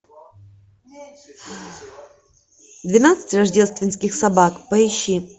двенадцать рождественских собак поищи